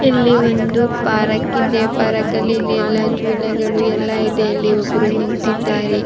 ಇಲ್ಲಿ ಒಂದು ಪಾರಕ್ ಇದೆ ಪಾರ್ಕ್ ಲ್ಲಿ ಇಲ್ಲಿ ಎಲ್ಲ ಜೋಲೆಗಳು ಎಲ್ಲ ಇದೆ ಇಲ್ಲಿ ಒಬ್ರು ನಿಂತಿದ್ದಾರೆ.